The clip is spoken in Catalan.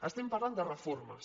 estem parlant de reformes